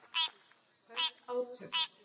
Hörð átök